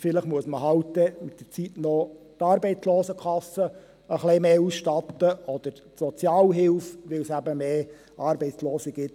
Vielleicht muss man dann halt mit der Zeit noch die Arbeitslosenkasse etwas mehr ausstatten oder die Sozialhilfe, weil es eben mehr Arbeitslose gibt.